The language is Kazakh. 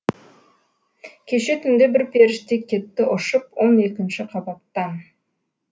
кеше түнде бір періште кетті ұшып он екінші қабаттан